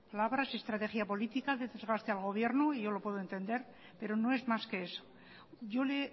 palabras y estrategia política de desgaste al gobierno y yo lo puedo entender pero no es más que eso yo le he